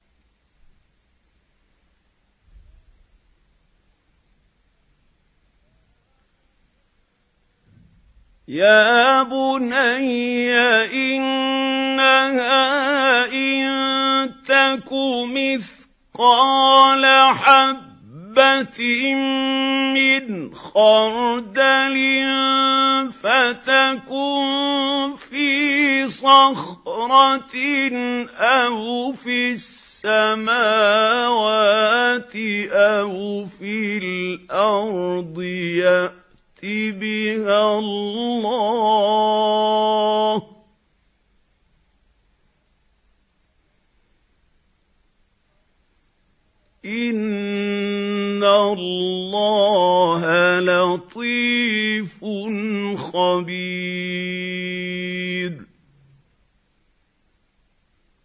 يَا بُنَيَّ إِنَّهَا إِن تَكُ مِثْقَالَ حَبَّةٍ مِّنْ خَرْدَلٍ فَتَكُن فِي صَخْرَةٍ أَوْ فِي السَّمَاوَاتِ أَوْ فِي الْأَرْضِ يَأْتِ بِهَا اللَّهُ ۚ إِنَّ اللَّهَ لَطِيفٌ خَبِيرٌ